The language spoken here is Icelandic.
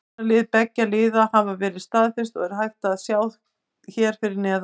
Byrjunarlið beggja liða hafa verið staðfest og er hægt að sjá hér fyrir neðan.